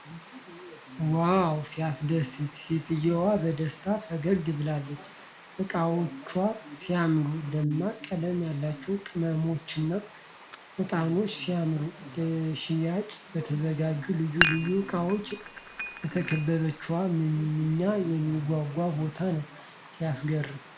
ዋው! ሲያስደስት! ሴትዮዋ በደስታ ፈገግ ብላለች። እቃዎቿ ሲያምሩ! ደማቅ ቀለም ያላቸው ቅመሞችና ዕጣኖች! ሲያምሩ! ለሽያጭ በተዘጋጁ ልዩ ልዩ ዕቃዎች የተከበበችው። ምንኛ የሚያጓጓ ቦታ ነው! ሲያስገርም!